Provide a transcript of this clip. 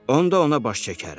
Onda ona baş çəkərəm.